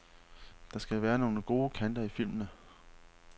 Der skal være nogle kanter i filmene.